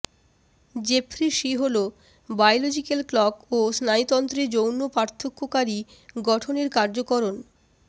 Jeffrey C Hall biological clock ও স্নায়ুতন্ত্রে যৌন পার্থক্যকারী গঠনের কার্যকরণ